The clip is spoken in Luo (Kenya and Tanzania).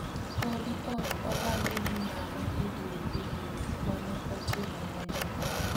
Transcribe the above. Podi ok oyangi ni ng'ano e diergi mane otimo monjno.